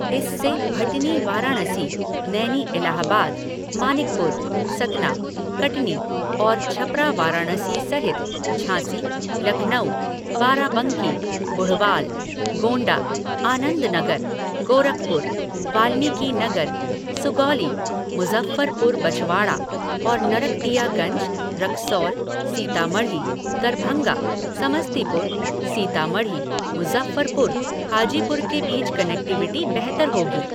इससे भटनी वाराणसी, नैनी इलाहाबाद, मानिकपुर, सतना, कटनी और छपरा वाराणसी सहित झांसी, लखनऊ, बाराबंकी, बुढ़वाल, गोंडा, आनंदनगर, गोरखपुर, वाल्मीकिनगर, सुगौली, मुज़फ़्फ़रपुर बछवाड़ा और नरकटियागंज, रक्सौल, सीतामढ़ी, दरभंगा, समस्तीपुर, सीतामढ़ी, मुजफ्फरपुर, हाजीपुर के बीच कनेक्टिविटी बेहतर होगी।